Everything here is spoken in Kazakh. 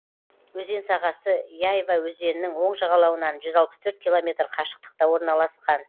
өзен сағасы яйва өзенінің оң жағалауынан жүз алпыс төрт километр қашықтықта орналасқан